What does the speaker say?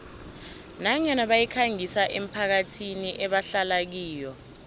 nanyana bayikhangisa emphakathini ebahlala kiyo